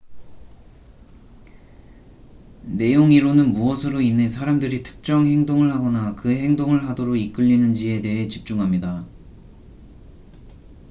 내용 이론은 무엇으로 인해 사람들이 특정 행동을 하거나 그 행동을 하도록 이끌리는지에 대해 집중합니다